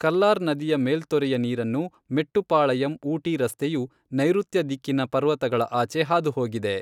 ಕಲ್ಲಾರ್ ನದಿಯ ಮೇಲ್ತೊರೆಯ ನೀರನ್ನು ಮೆಟ್ಟುಪಾಳಯಂ ಊಟಿ ರಸ್ತೆಯು ನೈರುತ್ಯ ದಿಕ್ಕಿನ ಪರ್ವತಗಳ ಆಚೆ ಹಾದುಹೋಗಿದೆ.